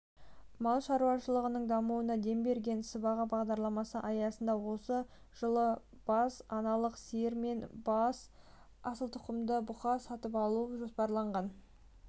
мал шаруашылығының дамуына дем берген сыбаға бағдарламасы аясында осы жылы бас аналық сиыр мен бас асыл тұқымды бұқа сатып алу жоспарланған